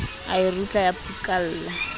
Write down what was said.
a e rutla ya phukalla